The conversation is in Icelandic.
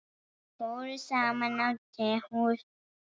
Þeir fóru saman á tehús.